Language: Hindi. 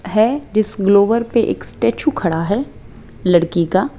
है डिस ग्लोवर पे एक स्टैचू खड़ा है लड़की का--